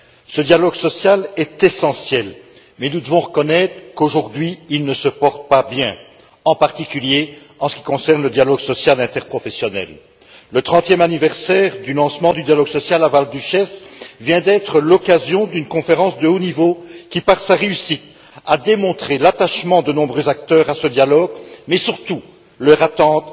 Ce dialogue est essentiel, mais nous devons reconnaître qu'il ne se porte pas bien aujourd'hui, en particulier en ce qui concerne le dialogue social interprofessionnel. Le récent trentième anniversaire du lancement du dialogue social à Val Duchesse a été l'occasion d'une conférence de haut niveau qui, par sa réussite, a démontré l'attachement de nombreux acteurs à ce dialogue mais surtout leur attente